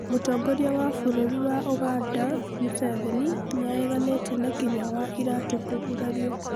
Mũtongoria wa bũrũri wa Uganda Museveni nĩareganite na Kinyua wa iratu kũgurario